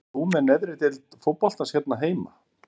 Fylgist þú með neðri deildum fótboltans hér heima?